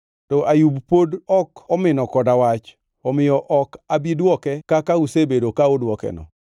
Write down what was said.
To Ayub pod ok omino koda wach, omiyo ok abi dwoke kaka usebedo ka uduokeno.